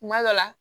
Kuma dɔ la